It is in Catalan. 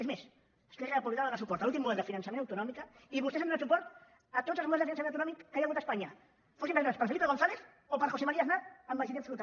és més esquerra republicana va donar suport a l’últim model de finançament autonòmic i vostès han donat suport a tots els models de finançament autonòmic que hi ha hagut a espanya fossin presentats per felipe gonzález o per josé maría aznar amb majoria absoluta